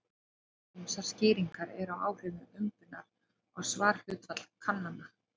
Ýmsar skýringar eru á áhrifum umbunar á svarhlutfall kannana.